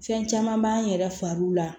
Fɛn caman b'an yɛrɛ fariw la